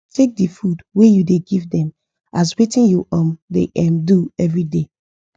take the food wa u da give them as watin u um da um do everyday